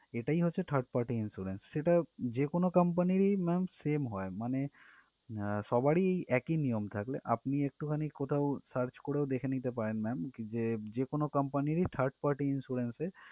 এটাই হচ্ছে third party insurance সেটা যেকোনো company রই ma'am same হয় মানে আহ সবারই একই নিয়ম থাকলে আপনি একটু খানি কোথাও search করে কোথাও দেখে নিতে পারেন ma'am যে যেকোনো company রই third party insurance এ